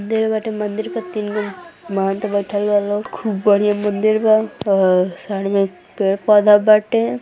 देले बाटे मंदिर पे तीन गो महंत बइठल बा लोग। खूब बढ़िया मंदिर बा। अह साइड में पेड़ पौधा बाटे।